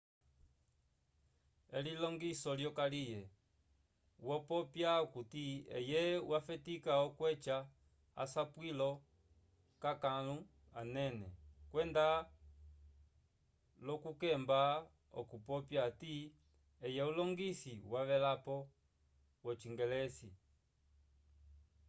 elilongiso lyokaliye wopopya okuti eye wafetika okweca asapwilo k'akãlu anene kwenda l'okukemba okupopya hati eye ulongisi wavelapo wocingelesi